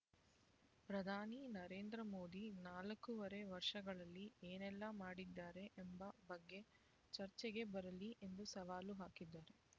ಪ್ರಧಾನಿ ನರೇಂದ್ರ ಮೋದಿ ನಾಲ್ಕೂವರೆ ವರ್ಷಗಳಲ್ಲಿ ಏನೆಲ್ಲಾ ಮಾಡಿದ್ದಾರೆ ಎಂಬ ಬಗ್ಗೆ ಚರ್ಚೆಗೆ ಬರಲಿ ಎಂದು ಸವಾಲು ಹಾಕಿದರು